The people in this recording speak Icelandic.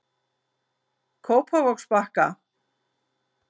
Kópavogsbakka